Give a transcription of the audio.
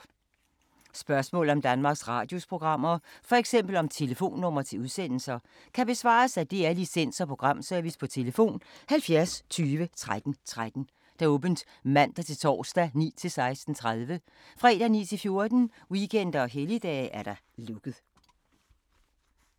Spørgsmål om Danmarks Radios programmer, f.eks. om telefonnumre til udsendelser, kan besvares af DR Licens- og Programservice: tlf. 70 20 13 13, åbent mandag-torsdag 9.00-16.30, fredag 9.00-14.00, weekender og helligdage: lukket.